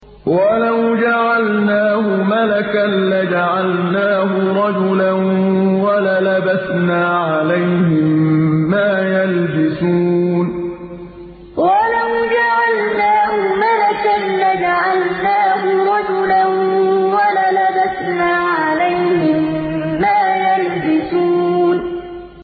وَلَوْ جَعَلْنَاهُ مَلَكًا لَّجَعَلْنَاهُ رَجُلًا وَلَلَبَسْنَا عَلَيْهِم مَّا يَلْبِسُونَ وَلَوْ جَعَلْنَاهُ مَلَكًا لَّجَعَلْنَاهُ رَجُلًا وَلَلَبَسْنَا عَلَيْهِم مَّا يَلْبِسُونَ